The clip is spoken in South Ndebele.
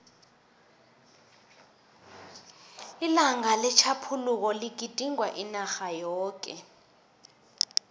ilanga letjhaphuluko ligidingwa inarha yoke